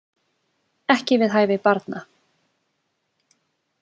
Ekki við hæfi barna